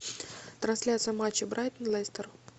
трансляция матча брайтон лестер